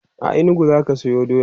a inugu zaka Sayo doya?